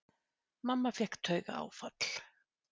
Mamma fékk taugaáfall.